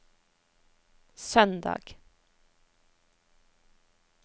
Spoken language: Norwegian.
søndag